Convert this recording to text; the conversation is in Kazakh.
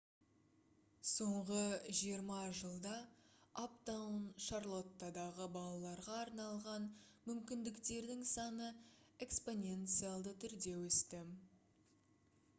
соңғы 20 жылда аптаун шарлоттадағы балаларға арналған мүмкіндіктердің саны экспоненциалды түрде өсті